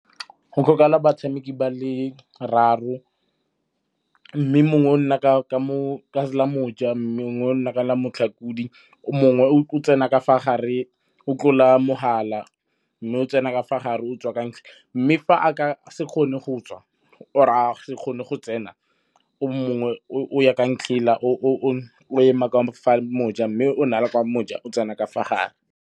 Go tlhokala batshameki ba le raro mme mongwe o nna ka la moja mme mongwe o nna ka mo motlhakodi, o mongwe o tsena ka fa gare, o tlola mogala mme o tsena ka fa gare o tswa ka . Mme fa a ka se kgone go tswa or-e a se kgone go tsena, o mongwe o ya kwa ntlhela o ema kwa fa moja mme o na le kwa moja o tsena ka fa gare.